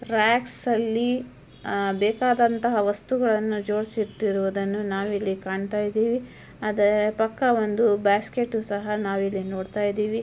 ರ್‍ಯಾಕ್ಸ ಲ್ಲಿ ಅಹ್ ಬೇಕಾದಂತಹ ವಸ್ತುಗಳನ್ನು ಜೋಡ್ಸಿಟ್ಟಿರುವುದನ್ನು ನಾವಿಲ್ಲಿ ಕಾಣ್ತಾ ಇದೀವಿ ಅದೇ ಪಕ್ಕ ಒಂದು ಬಾಸ್ಕೆಟು ಸಹ ನಾವಿಲ್ಲಿ ನೋಡ್ತಾ ಇದೀವಿ.